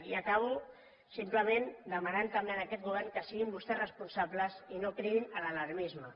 i acabo simplement demanant també a aquest govern que siguin vostès responsables i no cridin a l’alarmisme